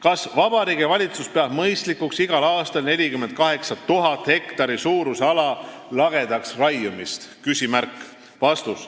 Kas Vabariigi Valitsus peab mõistlikuks igal aastal 48 000 hektari suuruse ala lagedaks raiumist?"